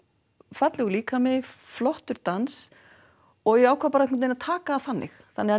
fallegur líkami flottur dans og ég ákvað einhvern veginn að taka því þannig þannig að